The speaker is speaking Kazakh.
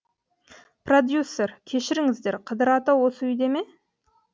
продюссер кешіріңіздер қыдыр ата осы үйде ме